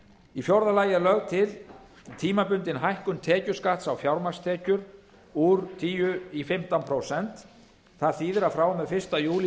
í fjórða lagi er er lögð til tímabundin hækkun tekjuskatts á fjármagnstekjur úr tíu prósent í fimmtán prósent það þýðir að frá og með fyrsta júlí